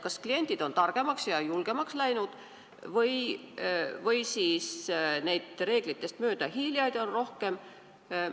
Kas kliendid on targemaks ja julgemaks läinud või reeglitest mööda hiilijaid on rohkem?